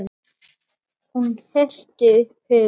Hún herti upp hugann.